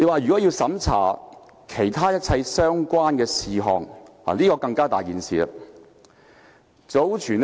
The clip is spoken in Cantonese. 說要審查其他一切相關的事項，這點便更嚴重。